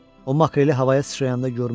O makreli havaya sıçrayanda görmüşdü.